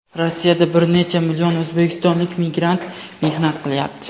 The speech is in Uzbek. Rossiyada bir necha million o‘zbekistonlik migrant mehnat qilyapti.